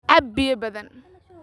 Cab biyo badan